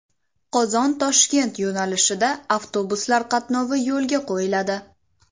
Qozon Toshkent yo‘nalishida avtobuslar qatnovi yo‘lga qo‘yiladi.